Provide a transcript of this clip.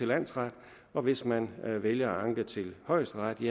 landsret og hvis man vælger at anke til højesteret